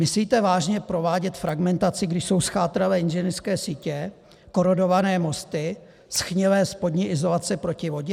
Musíte vážně provádět fragmentaci, když jsou zchátralé inženýrské sítě, korodované mosty, shnilé spodní izolace proti vodě?